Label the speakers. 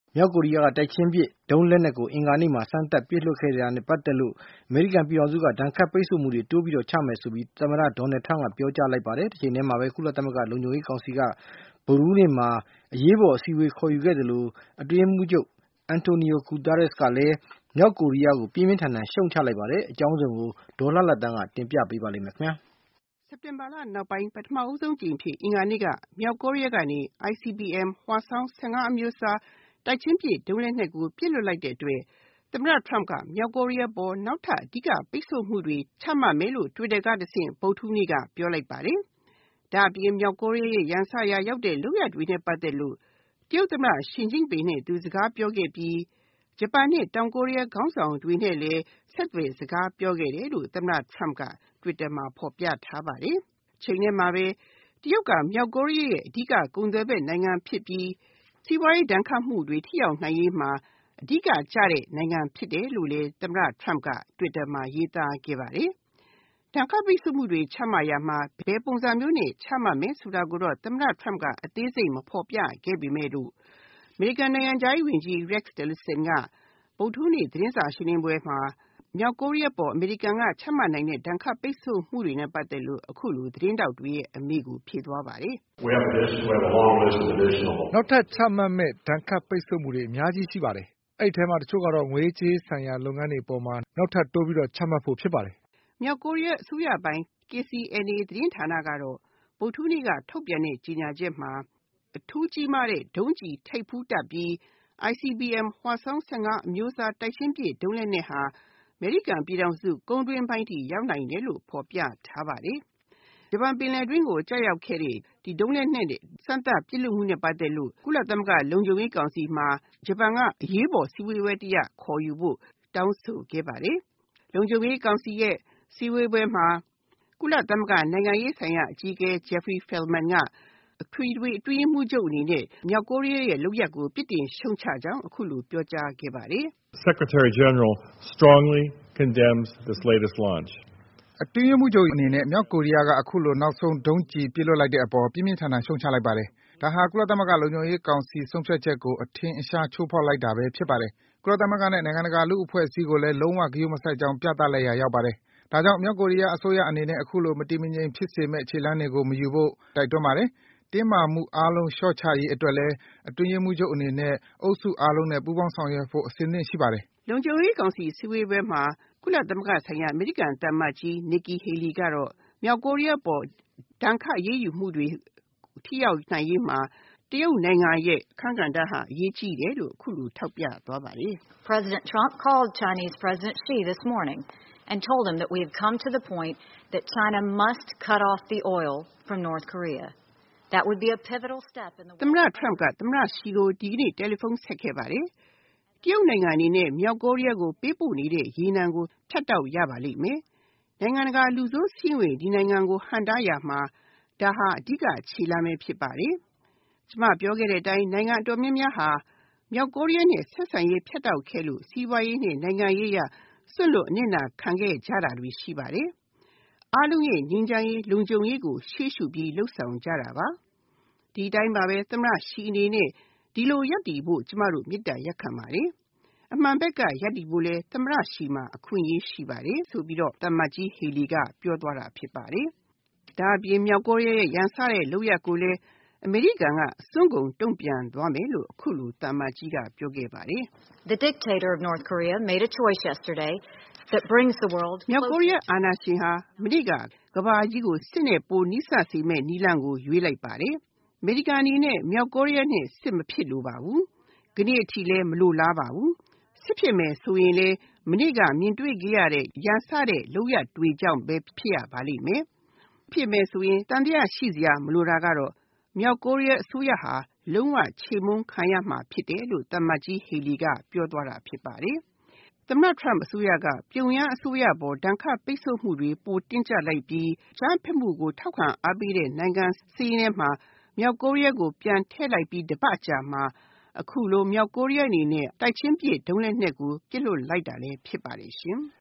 Speaker 1: မြောက်ကိုရီးယားက တိုက်ချင်းပစ်ဒုံးလက်နက်ကို အင်္ဂါနေ့မှာ စမ်းသပ်ပစ်လွှတ်ခဲ့တာနဲ့ ပတ်သက်လို့ အမေရိကန် ပြည်ထောင်စုက ဒဏ်ခတ်ပိတ်ဆို့မှုတွေ တိုးပြီးတော့ ချမယ် ဆိုပြီး သမ္မတ Donald Trump က ပြောကြားလိုက်ပါတယ်။ တချိန်တည်းမှာပဲ ကုလသမဂ္ဂ လုံခြုံရေးကောင်စီက ဗုဒ္ဓဟူးနေ့မှာ အရေးပေါ် အစည်းအဝေး ခေါ်ယူခဲ့သလို အတွ
Speaker 2: င်းရေးမှူးချုပ် Antonio Guterres ကလည်း မြောက်ကိုရီးယားကို ပြင်းပြင်းထန်ထန် ရှုတ်ချလိုက်ပါတယ်။ အကြ
Speaker 1: ောင်းစုံကို ဒေါ်လှလှသန်းက တင်ပြထားပါတယ်။ စက်တင်ဘာလနောက်ပိုင်း၊ ပထမဦးဆုံးအကြိမ်အဖြစ် အင်္ဂါနေ့က မြောက်ကိုးရီးယား ကနေ ICBM – Hwasong -၁၅ အမျိုးအစား တိုက်ချင်းပစ်ဒုံးလက်နက်ကို ပစ်လွှတ်လိုက် တဲ့အတွက် သမ္မတ Trump က မြောက်ကိုရီးယား အပေါ် နောက်ထပ် အဓိကပိတ်ဆို့ မှုတွေ ချမှတ်မယ်လို့ twitter ကတဆင့် ဗုဒ္ဓဟူးနေ့က ပြောလိုက်ပါတယ်။ ဒါ့အပြင် မြောက် ကိုရီးယားရဲ့ ရန်စရာရောက်တဲ့လုပ်ရပ်တွေနဲ့ပတ်သက်လို့ တရုတ်သမ္မတ ရှီကျင့်ပင်နဲ့အတူ စကား ပြောခဲ့ပြီး ဂျပန်နဲ့ တောင်ကိုးရီးယားခေါင်းဆောင်တွေနဲ့လည်း ဆက်သွယ်စကားပြောခဲ့တယ်လို့ သမ္မတ Trump က twitter မှာ ဖော်ပြထားပါတယ်။ တချိန်တည်းမှာပဲ တရုတ်က မြောက်ကိုးရီးယားရဲ့အဓိက ကုန်သွယ်ဘက်နိုင်ငံဖြစ်ပြီး စီးပွားရေးဒဏ်ခတ်မှုတွေ ထိရောက်နိုင်ရေးမှာ အဓိကကျတဲ့နိုင်ငံဖြစ်တယ်လို့လည်း သမ္မတ Trump က twitter မှာရေးသားခဲ့ပါတယ်။ ဒဏ်ခတ်ပိတ်ဆို့မှုတွေချမှတ်ရာမှာ ဘယ်ပုံစံမျိုးနဲ့ ချမှတ်မယ်ဆိုတာကိုတော့ သမ္မတ Trump က အသေးစိတ် မဖော်ပြခဲ့ပေမယ့်လို့ အမေရိကန်နိုင်ငံခြားရေးဝန်ကြီး Rex Tillerson ဗုဒ္ဓဟူးနေ့ သတင်းစာရှင်းလင်းပွဲမှာ မြောက် ကိုးရီးယားအပေါ် အမေရိကန်က ချမှတ်နိုင်တဲ့ ဒဏ်ခတ်ပိတ်ဆို့မှုတွေနဲ့ပတ်သက်လို့ သတင်းထောက်တွေရဲ့အမေးကို အခုလို ဖြေသွားပါတယ်။ “န
Speaker 2: ောက်ထပ်ချမှတ်မယ့် ဒဏ်ခတ်ပိတ်ဆို့မှုတွေ အများကြီးရှိပါတယ်။ အဲဒီထဲမှာ တချို့က aတာ့ ငွေရေး ကြေးရေး ဆိုင်ရာ လုပ်ငန်းတွေအပေါ်မှာ နောက်ထပ်တိုးပြီးတော့ ချမှတ်ဖို့ ဖြစ်ပါတယ်။
Speaker 1: ” မြောက်ကိုးရီးယားအစိုးရပိုင် KCNA သတင်းဌာနကတော့ ဗုဒ္ဓဟူးနေ့က ထုတ်ပြန်တဲ့ ကြေညာချက်မှာ အထူး ကြီးမားတဲ့ ဒုံးကျည် ထိပ်ဖူးတပ်ပြီး ICBM – Hwasong-၁၅ အမျိုးအစား တိုက်ချင်းပစ် ဒုံးလက်နက်ဟာ အမေရိကန်ပြည်ထောင်စု ကုန်းတွင်းပိုင်းအထိ ရောက်နိုင်တယ်လို့ ဖော်ပြထားပါတယ်။ ဂျပန်ပင်လယ် အတွင်းကို ကျရောက်ခဲ့တဲ့ ဒီ ဒုံးလက်နက် စမ်းသပ်ပစ်လွှတ်မှုနဲ့ပတ်သက်လို့ ကုလသမဂ္ဂ လုံခြုံရေးကောင်စီမှာ ဂျပန်က အရေးပေါ်အစည်းအဝေးပွဲတရပ် ခေါ်ယူဖို့ တောင်းဆိုခဲ့ပါတယ်။ လုံခြုံရေးကောင်စီရဲ့ စည်းဝေးပွဲမှာ ကုလသမဂ္ဂ နိုင်ငံရေးဆိုင်ရာ အကြီးအကဲ Jeffrey Feltman က အထွေထွေ အတွင်းရေးမှူးချုပ်အနေနဲ့ မြောက် ကိုးရီးယားရဲ့လုပ်ရပ်ကို ပြစ်တင်ရှုတ်ချကြောင်း အခုလို ပြောကြားခဲ့ပါတယ်။
Speaker 2: “အတွင်းရေးမှူးချုပ်အနေနဲ့ မြောက်ကိုရီးယားက အခုလို နောက်ဆုံးဒုံးကျည် ပစ်လွှတ် လိုက်တဲ့ အပေါ် ပြင်းပြင်း ထန်ထန် ရှုတ်ချလိုက်ပါတယ်။ ဒါဟာ ကုလသမဂ္ဂလုံခြုံရေး ကောင်စီဆုံးဖြတ်ချက်ကို အထင်အရှား ချိုးဖောက် လိုက်တာပဲ ဖြစ်ပါတယ်။ ကုလသမဂ္ဂနဲ့ နိုင်ငံတကာလူ့အဖွဲ့အစည်းကိုလည်း လုံးဝ ဂရုမစိုက်ကြောင်း ပြသရာရောက်ပါတယ်။ ဒါကြောင့် မြောက်ကိုးရီးယားအစိုးရအနေနဲ့ အခုလို မတည်မငြိမ်ဖြစ်စေမယ့် ခြေလှမ်း တွေကို မယူဖို့ တိုက်တွန်းပါတယ်။ တင်းမာမှုအားလုံး လျှော့ချရေးအတွက်လည်း အတွင်းရေးမှူးချုပ်အနေနဲ့ အုပ်စုအားလုံးနဲ့ပူးပေါင်းဆောင်ရွက်ဖို့ အဆင်သင့် ရှိပါတယ်။
Speaker 1: ” လုံခြုံရေးကောင်စီအစည်းအဝေးပွဲမှာ ကုလသမဂ္ဂဆိုင်ရာ အမေရိကန်သံအမတ်ကြီး Nikki Haley ကမြောက် ကိုးရီးယားအပေါ် ဒဏ်ခတ်အရေးယူမှုတွေ ထိရောက်နိုင်ရေးမှာ တရုတ်နိုင်ငံရဲ့ အခန်းကဏ္ဍဟာ အရေးကြီး တယ်လို့ အခုလို ထောက်ပြသွားပါတယ်။ “သမ္မတ Trump က သမ္မတ Xi ကို ဒီကနေ့ တယ်လီဖုံးဆက်ခဲ့ပါတယ်။ တရုတ်နိုင်ငံ အနေ နဲ့ မြောက်ကိုးရီးယား ကို ပေးပို့နေတဲ့ရေနံကို ဖြတ်တောက်ရပါလိမ့်မယ်။ နိုင်ငံ တကာ လူဆိုးစာရင်းဝင် ဒီနိုင်ငံကို ဟန့်တားရာမှာ ဒါဟာ အဓိကခြေလှမ်းပဲ ဖြစ်ပါတယ်။ ကျမ ပြောခဲ့တဲ့အတိုင်း နိုင်ငံအတော်များများဟာ မြောက်ကိုးရီးယားနဲ့ ဆက်ဆံရေးြ ဖြတ်တောက်ခဲ့လို့ စီးပွားရေးနဲ့နိုင်ငံရေးအရ စွန့်လွှတ်အနစ်နာခံခဲ့ကြတာတွေ ရှိပါတယ်။ အားလုံး ရဲ့ငြိမ်းချမ်းရေး၊ လုံခြုံရေးကို ရှေ့ရှုပြီး လုပ်ဆောင်ကြတာပါ။ ဒီအတိုင်း ပါပဲ၊ သမ္မတ Xi အနေနဲ့ ဒီလို ရပ်တည်ဖို့ ကျမတို့ မေတ္တာရပ်ခံပါတယ်။ အမှန်ဘက်က ရပ်တည်ဖို့လည်း သမ္မတ Xi မှာ အခွင့်အရေးရှိပါတယ်။” ဆိုပြီးတော့ သံအမတ်ကြီး Haley က ပြောသွားတာ ဖြစ်ပါတယ်။ ဒါ့အပြင် မြောက်ကိုရီးယားရဲ့ ရန်စတဲ့လုပ်ရပ်ကိုလည်း အစွန်းကုန်တုံ့ပြန်သွားမယ် လို့လည်း သံအမတ်ကြီးက အခုလို ပြောခဲ့ပါတယ်။ “မြောက်ကိုးရီးယားအာဏာရှင်ဟာ ကမ္ဘာကြီးကို စစ်နဲ့ပိုနီးစပ်စေမယ့် နည်းလမ်းကို မနေ့ က ရွေးလိုက်ပါတယ်။ အမေရိကန်အနေနဲ့ မြောက်ကိုးရီးယားနဲ့ စစ်မဖြစ်လိုပါဘူး။ ကနေ့ အထိလည်း မလိုလားပါဘူး။ စစ်ဖြစ်မယ် ဆိုရင်လည်း မနေ့ကမြင်တွေ့ခဲ့ရတဲ့ ရန်စတဲ့ လုပ်ရပ်တွေကြောင့်ပဲ ဖြစ်ရပါလိမ့်မယ်။ ဖြစ်မယ်ဆိုရင် သံသယ ရှိစရာမလိုတာကတော့ မြောက်ကိုးရီးယားအစိုးရဟာ လုံးဝချေမှုန်းခံရမှာဖြစ်တယ်…” လို့ သံအမတ်ကြီး Haley က ပြောသွားတာ ဖြစ်ပါတယ်။ သမ္မတ Trump အစိုးရက ပြုံယမ်းအစိုးရအပေါ် ဒဏ်ခတ်ပိတ်ဆို့မှုတွေ ပိုတင်းကြပ် လိုက်ပြီး အကြမ်းဖက်မှုကို အားပေးထောက်ခံတဲ့နိုင်ငံစာရင်းထဲမှာ မြောက်ကိုးရီးယားကို ပြန်ထည့်လိုက်ပြီးတပတ်အကြာမှာ အခုလို မြောက် ကိုးရီးယားအနေနဲ့ တိုက်ချင်းပစ် ဒုံးလက်နက်ကို ပစ်လွှတ်လိုက်တာလည်း ဖြစ်ပါတယ်ရှင်။